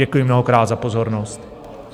Děkuji mnohokrát za pozornost.